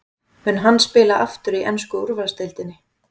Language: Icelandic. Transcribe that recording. Mun hann spila aftur í ensku úrvalsdeildinni?